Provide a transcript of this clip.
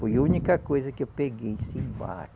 Foi a única coisa que eu peguei